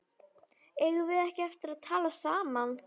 Eigum við ekki eftir að tala saman?